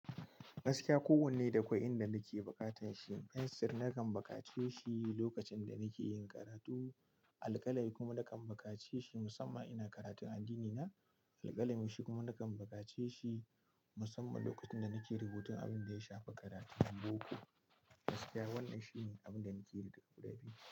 Gaskiya, kowanne da akwai inda nake bukatar shi. Fensir nakan bukace shi lokacin da nake yin karatu. Alƙalai kuma nakan bukace shi musamman ina karatun addinina. Alƙalami shi kuma nakan bukace shi musamman lokacin da nake rubutun abin da ya shafi karatun boko. Gaskiya wannan shine abinda nake nufi da guda biyun.